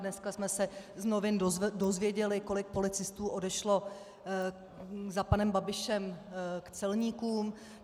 Dneska jsme se z novin dozvěděli, kolik policistů odešlo za panem Babišem k celníkům.